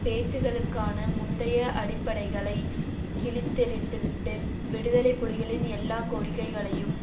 பேச்சுக்களுக்கான முந்தைய அடிப்படைகளை கிழித்தெறிந்து விட்டு விடுதலை புலிகளின் எல்லா கோரிக்கைகளையும்